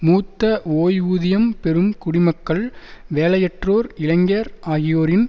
மூத்த ஓய்வூதியம் பெறும் குடிமக்கள் வேலையற்றோர் இளைஞர் ஆகியோரின்